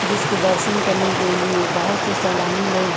जिसके दर्शन करने के लिए बहुत से सैलानी लोग --